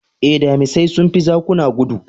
Ae, damisai sun fi zakuna gudu.